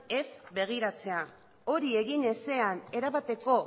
ez begiratzea hori egin ezean erabateko